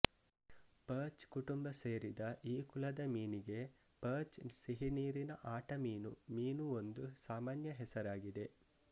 perch ಕುಟುಂಬ ಸೇರಿದ ಈ ಕುಲದ ಮೀನಿಗೆ ಪರ್ಚ್ ಸಿಹಿನೀರಿನ ಆಟಮೀನು ಮೀನು ಒಂದು ಸಾಮಾನ್ಯ ಹೆಸರಾಗಿದೆ